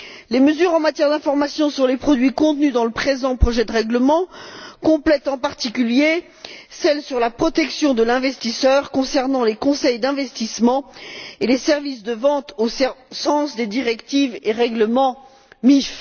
Les mesures en matière d'information sur les produits contenues dans le présent projet de règlement complètent, en particulier, celles sur la protection de l'investisseur concernant les conseils d'investissement et les services de vente au sens des directives et règlements MIF.